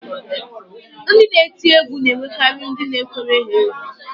Ndị na-eti egwu na-enwekarị ndị na-ekwere ha egwú